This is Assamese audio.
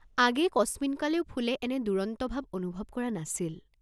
আগেয়ে কস্মিনকালেও ফুলে এনে দুৰন্ত ভাৱ অনুভৱ কৰা নাছিল।